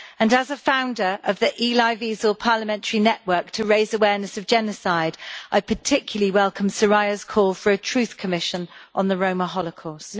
As a founder of the Elie Wiesel parliamentary network to raise awareness of genocide, I particularly welcome Soraya's call for a truth commission on the Roma Holocaust.